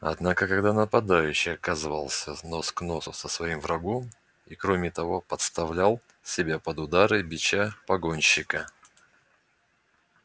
однако когда нападающий оказывался нос к носу со своим врагом и кроме того подставлял себя под удары бича погонщика